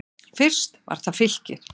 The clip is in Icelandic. Fyrst var það Fylkir.